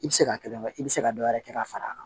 I bɛ se ka kelen kɛ i bɛ se ka dɔ wɛrɛ kɛ ka fara a kan